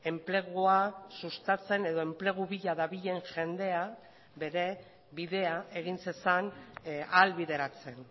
enplegua sustatzen edo enplegu bila dabilen jendea bere bidea egin zezan ahalbideratzen